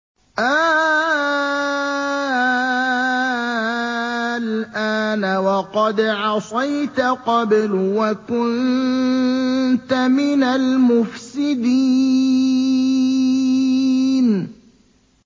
آلْآنَ وَقَدْ عَصَيْتَ قَبْلُ وَكُنتَ مِنَ الْمُفْسِدِينَ